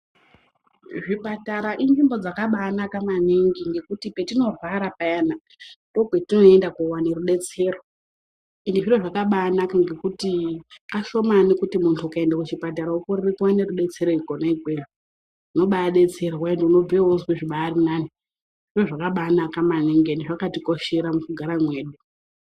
Zvipatara inzvimbo dzakabaanaka maningi ngekuti petinorwara payana ndokwatinoende kowane rudetsero izvi zviro zvakabaanaka ngekuti kashomani muntu ukaende kuchipatara wokorere kuone rudetsero kwona ikweyo unobadetserwa ende unobve wobazwe zvibari nani zviro zvakabanaka maningi endi zvakatikoshera mukugara mwedu.